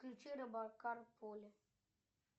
включи робокар поли